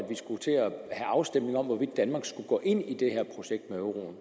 have afstemning om hvorvidt danmark skulle gå ind i det her projekt med euroen